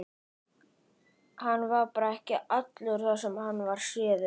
Hann var bara ekki allur þar sem hann var séður.